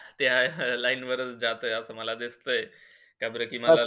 त्या line वरच जातंय, असा मला दिसतंय. का बार की मला